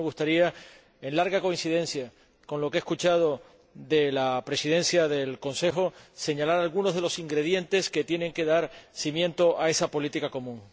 Por eso me gustaría, en amplia coincidencia con lo que he escuchado de la Presidencia del Consejo, señalar algunos de los ingredientes que tienen que dar cimiento a esa política común.